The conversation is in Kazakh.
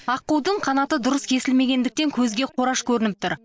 аққудың қанаты дұрыс кесілмегендіктен көзге қораш көрініп тұр